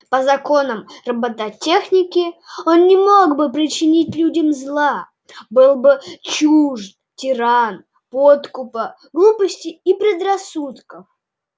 по законам роботехники он не мог бы причинить людям зла был бы чужд тиран подкупа глупости и предрассудков